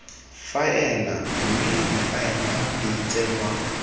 faela mme difaele di tsenngwa